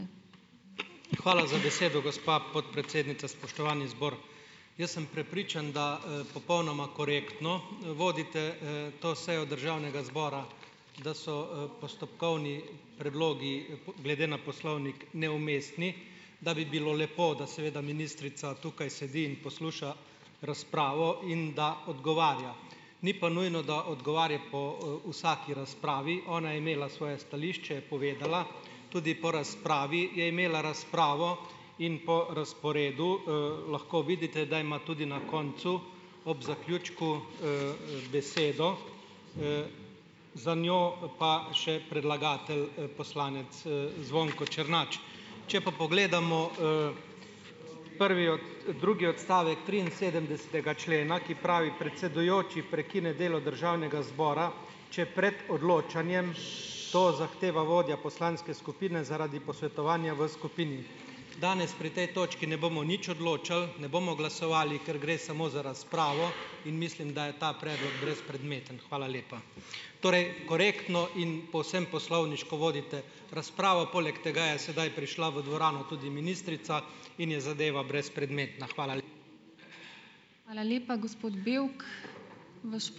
Hvala za besedo, gospa podpredsednica, spoštovani zbor, jaz sem prepričan, da, popolnoma korektno, vodite, to sejo državnega zbora, da so, postopkovni predlogi, glede na poslovnik neumestni, da bi bilo lepo, da seveda ministrica tukaj sedi in posluša razpravo in da odgovarja. Ni pa nujno, da odgovarja po, vsaki razpravi, ona je imela svoje stališče, je povedala, tudi po razpravi je imela razpravo in po razporedu, lahko vidite, da ima tudi na koncu ob zaključku, besedo, za njo pa še predlagatelj, poslanec, Zvonko Črnač. Če pa pogledamo, prvi drugi odstavek triinsedemdesetega člena, ki pravi: "Predsedujoči prekine delo državnega zbora, če pred odločanjem to zahteva vodja poslanske skupine zaradi posvetovanja v skupini." Danes pri tej točki ne bomo nič odločali, ne bomo glasovali, ker gre samo za razpravo. In mislim, da je ta predlog brezpredmeten. Hvala lepa. Torej korektno in povsem poslovniško vodite razpravo, poleg tega je sedaj prišla v dvorano tudi ministrica in je zadeva brezpredmetna. Hvala